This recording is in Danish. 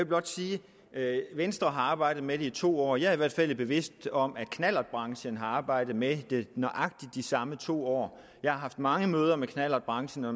blot sige at venstre har arbejdet med det i to år og jeg er i hvert fald bevidst om at knallertbranchen har arbejdet med det nøjagtig de samme to år jeg har haft mange møder med knallertbranchen og